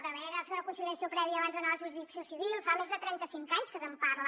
d’haver de fer una conciliació prèvia abans d’anar a la jurisdicció civil fa més de trenta cinc anys que se’n parla